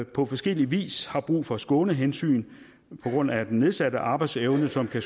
på forskellig vis har brug for skånehensyn på grund af den nedsatte arbejdsevne som kan